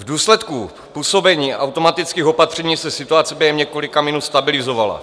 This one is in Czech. V důsledku působení automatických opatření se situace během několika minut stabilizovala.